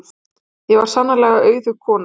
Ég var sannarlega auðug kona.